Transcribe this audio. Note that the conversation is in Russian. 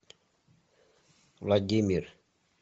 владимир